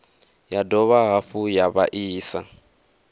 ya dovha hafhu ya vhaisa